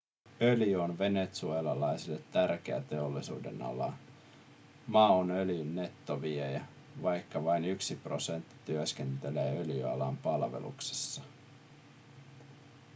öljy on venezuelalaisille tärkeä teollisuudenala maa on öljyn nettoviejä vaikka vain yksi prosentti työskentelee öljyalan palveluksessa